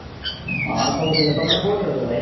ହଁ ସବୁ ଠିକ ତମେ କୋଉଠି ଅଛ ଭାଇ?